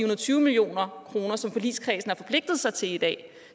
og tyve million kr som forligskredsen har forpligtet sig til i dag